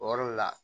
O yɔrɔ le la